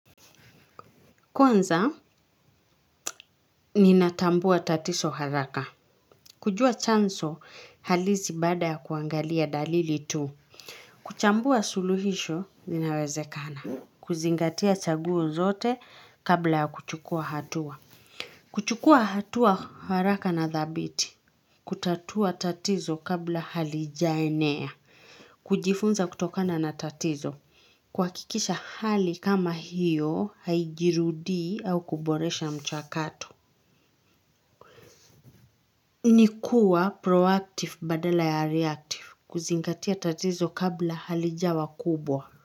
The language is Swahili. Kwanza, ninatambua tatizo haraka. Kujua chanzo halizi baada ya kuangalia dalili tu. Kuchambua suluhisho, linawezekana. Kuzingatia chaguo zote kabla ya kuchukua hatua. Kuchukua hatua haraka na dhabiti. Kutatua tatizo kabla halijaenea. Kujifunza kutokana na tatizo. Kuhakikisha hali kama hiyo, haijirudii au kuboresha mchakato. Ni kuwa proactive badala ya reactive kuzingatia tatizo kabla halijawa kubwa.